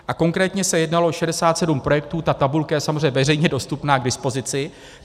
A konkrétně se jednalo o 67 projektů, ta tabulka je samozřejmě veřejně dostupná k dispozici.